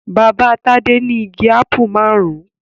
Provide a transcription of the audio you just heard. Bàbá Tádé ní igi ápù márùn-ún.